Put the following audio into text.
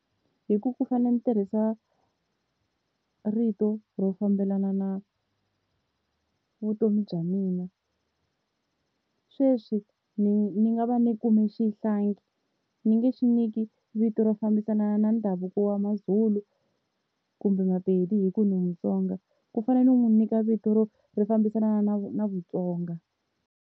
Hi ku pfuka ni tirhisa rito ro fambelana na vutomi bya mina. Sweswi ni ni nga va ni kume xihlangi ni nge xi nyiki vito ro fambisana na ndhavuko wa Mazulu kumbe Mapedi hi ku ndzi Mutsonga ku fane ni n'wi nyika vito ro ri fambisana na na Vutsonga.